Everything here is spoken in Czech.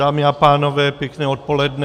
Dámy a pánové, pěkné odpoledne.